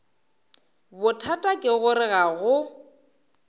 bothata ke gore ga go